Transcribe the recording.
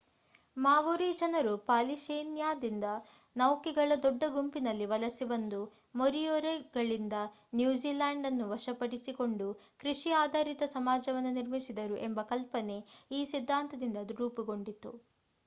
ಮಾವೊರೀ ಜನರು ಪಾಲಿನೇಷ್ಯಾದಿಂದ ನೌಕೆಗಳ ದೊಡ್ಡ ಗುಂಪಿನಲ್ಲಿ ವಲಸೆ ಬಂದು ಮೊರಿಯೊರಿಗಳಿಂದ ನ್ಯೂಝಿಲ್ಯಾಂಡ್ ಅನ್ನು ವಶಪಡಿಸಿಕೊಂಡು ಕೃಷಿ ಆಧಾರಿತ ಸಮಾಜವನ್ನು ನಿರ್ಮಿಸಿದರು ಎಂಬ ಕಲ್ಪನೆ ಈ ಸಿದ್ಧಾಂತದಿಂದ ರೂಪುಗೊಂಡಿತು